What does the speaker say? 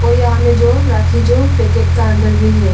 और यहाँ में जो राखी जो पैकेट का अंदर भी है।